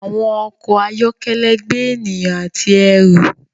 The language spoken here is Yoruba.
Àwọn ọkọ ayọkẹlẹ gbé ènìyàn àti ẹru.